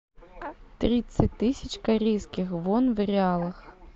тридцать тысяч корейских вон в реалах